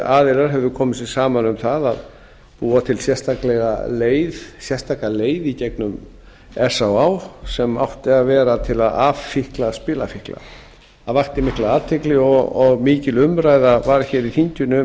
að aðilar hefðu komið sér saman um það að búa til sérstaka leið í gegnum s á á sem átti að vera til að affíkna spilafíkla það vakti mikla athygli og mikil umræða var hér í þinginu um